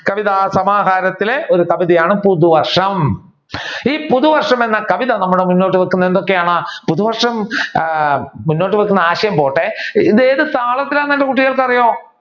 കവിതാസമാഹാരത്തിലെ ഒരു കവിതയാണ് പുതുവർഷം ഈ പുതുവർഷം എന്ന കവിത നമ്മൾ മുന്നോട്ട് വെക്കുന്നത് എന്തൊക്കെയാണ് പുതുവർഷം ആഹ് പുതുവർഷം വെക്കുന്ന ആശയം പോട്ടെ ഇത് ഏത് താളത്തിലാണെന് എന്റെ കുട്ടികൾക്ക് ആറിയാവോ